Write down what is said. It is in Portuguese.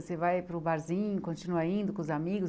Você vai para o barzinho, continua indo com os amigos?